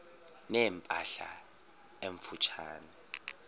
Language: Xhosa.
ne mpahla emfutshane